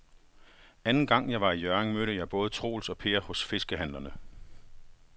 Anden gang jeg var i Hjørring, mødte jeg både Troels og Per hos fiskehandlerne.